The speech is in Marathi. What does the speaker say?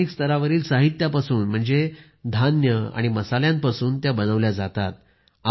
स्थानिक स्तरावरील साहित्यापासून म्हणजे धान्य आणि मसाल्यांपासून त्या बनवल्या जातात